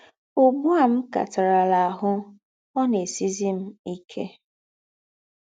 Ùgbù à m̀ kátàràlà áhụ̀, ọ̀ ná-èsìzìrì m íkè.